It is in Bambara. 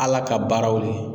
Ala ka baaraw le.